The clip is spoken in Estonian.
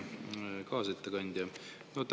Hea kaasettekandja!